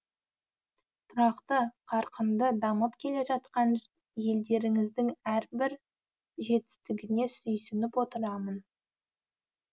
тұрақты қарқынды дамып келе жатқан елдеріңіздің әрбір жетістігіне сүйсініп отырамын